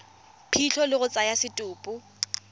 phitlho le go tsaya setopo